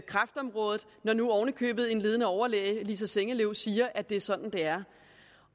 kræftområdet når nu oven i købet en ledende overlæge lisa sengeløv siger at det er sådan det er